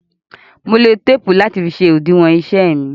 Mo lo téèpù láti fi ṣe òdiwọn iṣẹ́ mi.